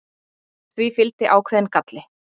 Því fylgdi ákveðinn galli.